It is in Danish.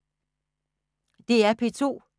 DR P2